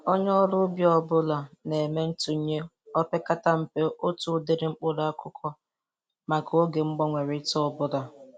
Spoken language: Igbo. Onye ọrụ ubi ọbụla na-eme ntụnye o pekata mpe otu ụdịrị mkpụrụ akụkụ maka oge mgbanwerịta ọbụla.